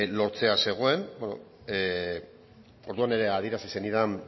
lortzear zegoen orduan ere adierazi zenidan